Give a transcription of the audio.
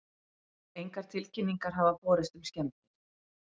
Engar tilkynningar hafa borist um skemmdir